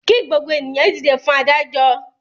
Kí gbogbo ènìyàn dìde fún adájọ́!